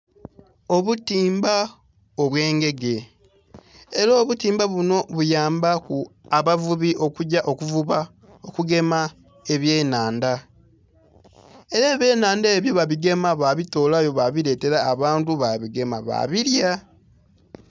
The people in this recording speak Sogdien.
Obutimba obwe ngege era obutimba bunho buyamba ku abavubi okugya okuvuba, okugema ebye nnhandha era ebye nnhandha ebyo babigema babi tolayo babi letela abantu abigema babilya.